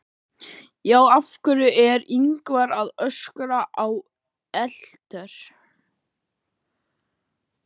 Af hverju er Ingvar að öskra á Ellert?